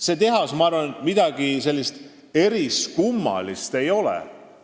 See tehas, ma arvan, midagi sellist eriskummalist ei oleks.